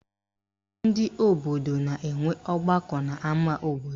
Ndị obodo na-enwe ọgbakọ n'ama obodo